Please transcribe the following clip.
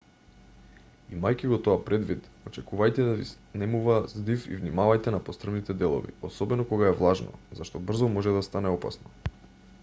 имајќи го тоа предвид очекувајте да ви снемува здив и внимавајте на пострмните делови особено кога е влажно зашто брзо може да стане опасно